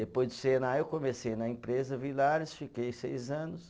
Depois do Senai eu comecei na empresa, Villares, fiquei seis anos.